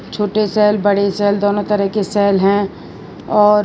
छोटी सेल बड़ी सेल दोनों तरह की सेल हैं और --